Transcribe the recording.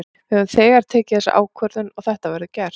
Við höfum þegar tekið þessa ákvörðun og þetta verður gert.